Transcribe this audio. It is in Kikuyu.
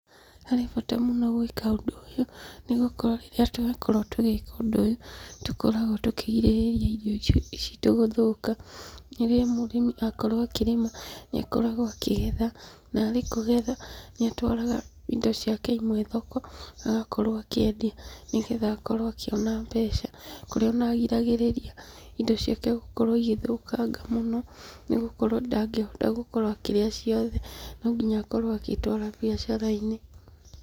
Harĩ bata mũno gwĩka ũndũ ũyũ, nĩgũkorwo rĩrĩa twakorwo tũgĩka ũndũ ũyũ, nĩtũkoragwo tũkĩgirĩrĩria irio citũ gũthũka. Rĩrĩa mũrĩmi akorwo akĩrĩma, nĩakoragwo akĩgetha, na arĩ kũgetha, nĩatwaraga indo ciake imwe thoko, agakorwo akĩendia nĩgetha akorwo akĩona mbeca, kũrĩa ona agiragĩrĩria indo ciake gũkorwo igĩthũkanga mũno, nĩgũkorwo ndangĩhota gũkorwo akĩrĩa ciothe, nonginya akorwo agĩtwara biacara-inĩ.